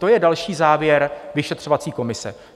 To je další závěr vyšetřovací komise.